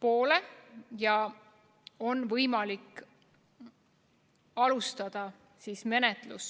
poole ja alustada rikkumismenetlust.